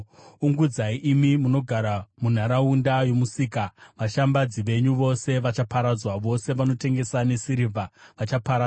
Ungudzai imi munogara munharaunda yomusika, vashambadzi venyu vose vachaparadzwa, vose vanotengesa nesirivha vachaparadzwa.